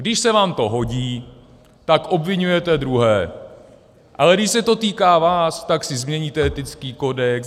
Když se vám to hodí, tak obviňujete druhé, ale když se to týká vás, tak si změníte etický kodex.